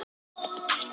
Hún komst ekki hjá því.